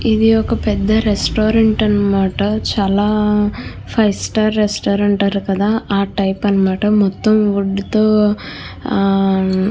ఇది ఒక పెద్ద రెస్టౌరెంట్ అనమాట. చాలా ఫైవ్ స్టార్ రెస్టౌరెంట్ అంటారు కదా ఆ టైపు అనమాట. మొత్తము వుడ్ తో --